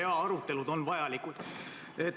Jaa, arutelud on vajalikud.